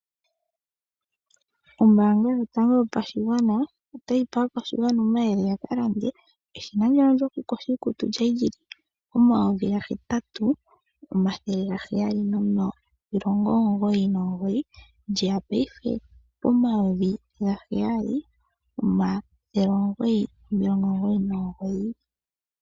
Ombaanga yotango yopashigwana otayi pe aakwashigwana ya kalande eshina lyawo lyokuyoga iikutu lyali lyili N$8799, paife olye ya N$7900.